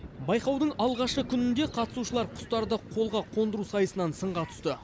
байқаудың алғашқы күнінде қатысушылар құстарды қолға қондыру сайысынан сынға түсті